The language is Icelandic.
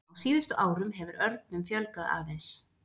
Á síðustu árum hefur örnum fjölgað aðeins.